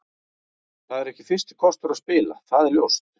Það er ekki fyrsti kostur að spila, það er ljóst.